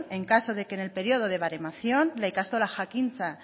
en caso de que en el periodo de baremación la ikastola jakintza